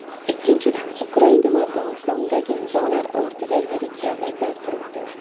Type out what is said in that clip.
Ikkinchidan, Ukraina va Gonkongdagi nizolar ortida yirik davlatlar turibdi.